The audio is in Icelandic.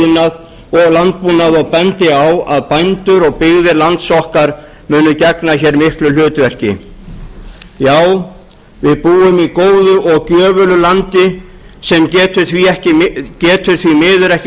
iðnað og landbúnað og bendi á að bændur og byggðir lands okkar munu gegna hér miklu hlutverki já við búum í góðu og gjöfulu landi sem getur því miður ekki